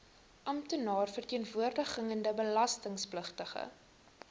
amptenaar verteenwoordigende belastingpligtige